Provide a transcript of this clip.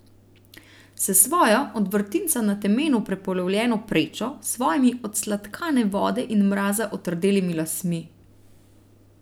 S svojo, od vrtinca na temenu prepolovljeno prečo, svojimi od sladkane vode in mraza otrdelimi lasmi.